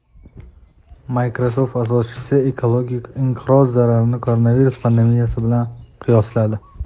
Microsoft asoschisi ekologik inqiroz zararini koronavirus pandemiyasi bilan qiyosladi.